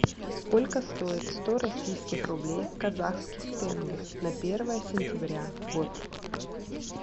сколько стоит сто российских рублей в казахских тенге на первое сентября год